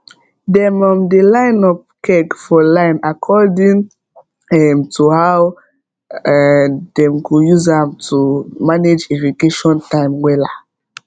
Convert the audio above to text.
dem um dey line up keg for line according um to how um dem go use am to manage irrigation time wella